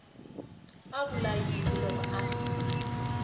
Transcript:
a vula yini loko a